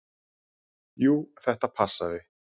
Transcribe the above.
Jú, þetta passaði.